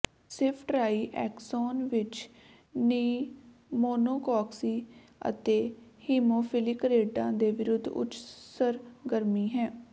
ceftriaxone ਵਿੱਚ pneumococci ਅਤੇ haemophilic ਰੈਡਾਂ ਦੇ ਵਿਰੁੱਧ ਉੱਚ ਸਰਗਰਮੀ ਹੈ